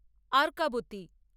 Arkavathi